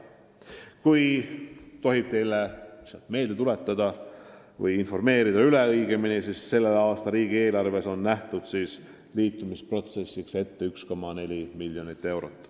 Kui tohib teile meelde tuletada, siis tänavuses riigieelarves on liitumisprotsessiks ette nähtud 1,4 miljonit eurot.